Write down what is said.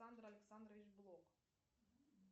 александр александрович блок